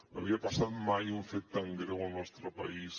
no havia passat mai un fet tan greu al nostre país